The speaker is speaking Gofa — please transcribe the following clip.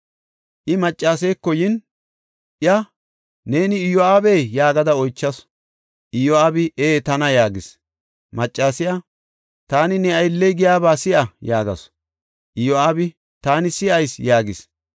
I maccaseeko yin, iya, “Neeni Iyo7aabee?” yaagada oychasu. Iyo7aabi, “Ee, tana” yaagis. Maccasiya, “Taani ne aylliya giyaba si7a” yaagasu. Iyo7aabi, “Taani si7ayis” yaagis.